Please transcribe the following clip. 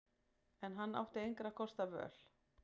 En hann átti engra kosta völ.